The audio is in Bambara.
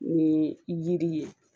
Ni jiri ye